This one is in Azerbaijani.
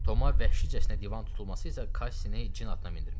Tomun vəhşicəsinə divan tutulması isə Kassini cin atına mindirmişdi.